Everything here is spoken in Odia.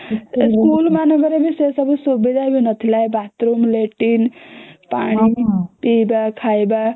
school ମାନଙ୍କରେ ସେ ସବୁ ସୁବିଧା ବି ନଥିଲା ଏଇ bathroom ଲାଟିନ ପାଣି ପିଇବା ଖାଇବା